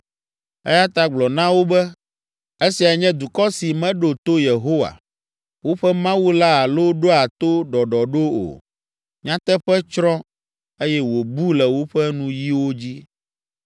Eya ta gblɔ na wo be, ‘Esiae nye dukɔ si meɖo to Yehowa, woƒe Mawu la alo ɖoa to ɖɔɖɔɖo o. Nyateƒe tsrɔ̃, eye wòbu le woƒe nuyiwo dzi.